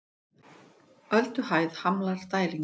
Ölduhæð hamlar dælingu